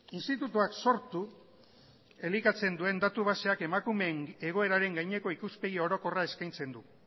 institutuak sortu elikatzen duen datu baseak emakumeen egoeraren gaineko ikuspegi orokorra eskaintzen du